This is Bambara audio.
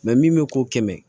min bɛ ko kɛmɛ